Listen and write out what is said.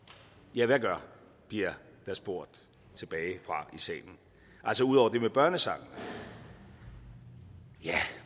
ja hvad gør bliver der spurgt tilbage fra salen altså udover det med børnesangene ja